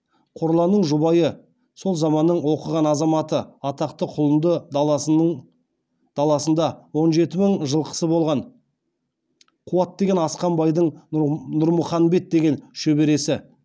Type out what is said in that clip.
қорланның жұбайы сол заманның оқыған азаматы атақты құлынды даласында он жеті мың жылқысы болған қуат деген асқан байдың нұрмұханбет деген шөбересі